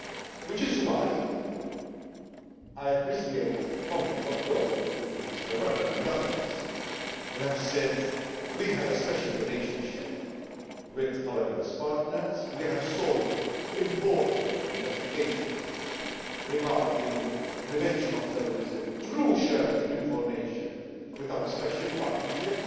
This is why I appreciate the comments of those, including Mr Weber and others, who have said that we have a special relationship with our US partners and we have solved important investigations regarding the prevention of terrorism through shared information with our special partnership,